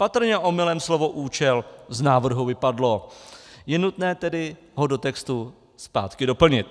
Patrně omylem slovo účel z návrhu vypadlo, je nutné tedy ho do textu zpátky doplnit.